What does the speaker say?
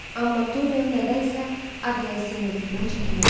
Amma Dorian nədənsə Adrian Singletondan çəkinirdi.